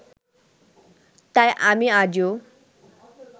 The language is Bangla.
তাই আমি আজও